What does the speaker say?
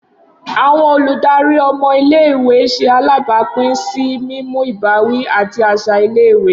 Awọn oludari ọmọ ile-iwe ṣe alabapin si mimu ibawi ati aṣa ile-iwe